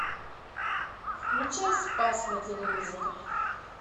включай спас на телевизоре